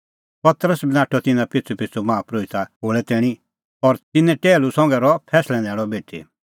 पतरस बी नाठअ तिन्नां पिछ़ूपिछ़ू माहा परोहिते खोल़ै तैणीं और तिन्नें टैहलू संघै रहअ फैंसलै न्हैल़अ बेठी